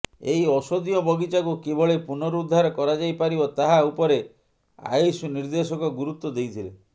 ଏହି ଔଷଧୀୟ ବଗିଚାକୁ କିଭଳି ପୁନରୁଦ୍ଧାର କରାଯାଇ ପାରିବ ତାହା ଉପରେ ଆୟୁଷ ନିର୍ଦେଶକ ଗୁରୁତ୍ୱ ଦେଇଥିଲେ